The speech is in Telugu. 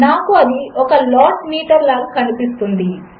నాకుఅదిఒకలాట్నీటర్లాగాకనిపిస్తుంది